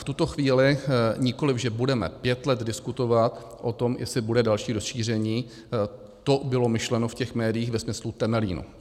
V tuto chvíli nikoli že budeme pět let diskutovat o tom, jestli bude další rozšíření, to bylo myšleno v těch médiích ve smyslu Temelína.